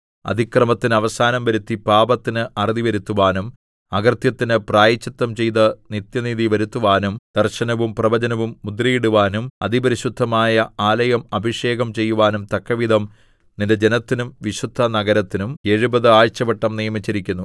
അതിക്രമത്തിന് അവസാനം വരുത്തി പാപത്തിന് അറുതി വരുത്തുവാനും അകൃത്യത്തിന് പ്രായശ്ചിത്തം ചെയ്ത് നിത്യനീതി വരുത്തുവാനും ദർശനവും പ്രവചനവും മുദ്രയിടുവാനും അതിപരിശുദ്ധമായ ആലയം അഭിഷേകം ചെയ്യുവാനും തക്കവിധം നിന്റെ ജനത്തിനും വിശുദ്ധനഗരത്തിനും എഴുപത് ആഴ്ചവട്ടം നിയമിച്ചിരിക്കുന്നു